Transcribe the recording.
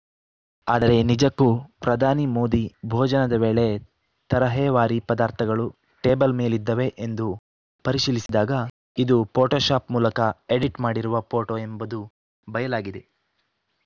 ಆದರೆ ನಿಜಕ್ಕೂ ಪ್ರಧಾನಿ ಮೋದಿ ಭೋಜನದ ವೇಳೆ ತರಹೇವಾರಿ ಪದಾರ್ಥಗಳು ಟೇಬಲ್‌ ಮೇಲಿದ್ದವೇ ಎಂದು ಪರಿಶೀಲಿಸಿದಾಗ ಇದು ಫೋಟೋ ಶಾಪ್‌ ಮೂಲಕ ಎಡಿಟ್‌ ಮಾಡಿರುವ ಫೋಟೋ ಎಂಬುದು ಬಯಲಾಗಿದೆ